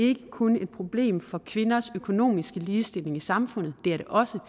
ikke kun et problem for kvinders økonomiske ligestilling i samfundet det er det også